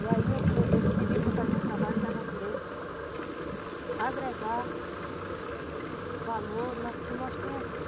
E aí eu comecei, eles pediram para fazer um trabalho da natureza o seguinte, agregar valor no que nós temos aqui.